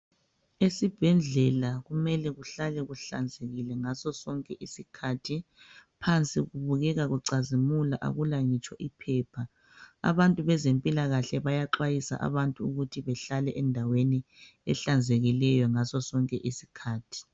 Esibhedlela kumele kuhlanzekile ngaso sonke isikhathi. Phansi kubukeka kucazamula akula ngitsho iphepha. Abantu bezempilakahle bayaxwayisa abantu ukuthi behlale endaweni ehlanzekileyo ngaso sonke isikhathi.